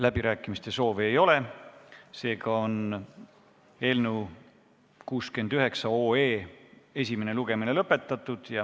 Läbirääkimiste soovi ei ole, seega on eelnõu 69 esimene lugemine lõpetatud.